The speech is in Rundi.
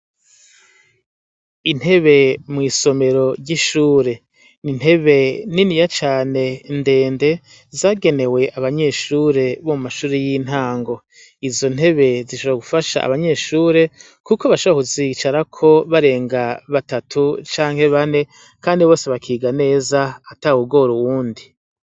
Intebe mw'isomero ry'ishure. Ni intebe niniya cane ndende, zagenewe abanyeshure bo muma shure y'intango. Izo ntebe zishobora gufasha abanyeshure, kuko bashobora kuzicarako barenga batatu canke bane, kandi bose bakiga neza ata wugora uwundi.